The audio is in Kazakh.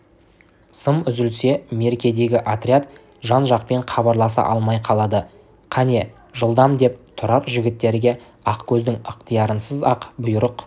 сым үзілсе меркедегі отряд жан-жақпен хабарласа алмай қалады кәне жылдам деп тұрар жігіттерге ақкөздің ықтиярынсыз-ақ бұйрық